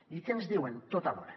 i què ens diuen tot alhora